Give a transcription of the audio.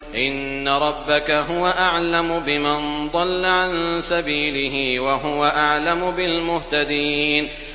إِنَّ رَبَّكَ هُوَ أَعْلَمُ بِمَن ضَلَّ عَن سَبِيلِهِ وَهُوَ أَعْلَمُ بِالْمُهْتَدِينَ